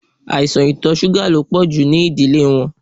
Aisan itọ ṣuga lo pọju ninu idile wọn